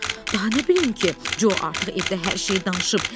Daha nə bilim ki, Co artıq evdə hər şeyi danışıb.